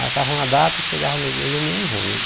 Marcava uma data, chegava no dia e o menino ruim.